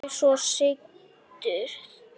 Þau svo sigtuð.